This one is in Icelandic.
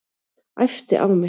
Æpti á mig.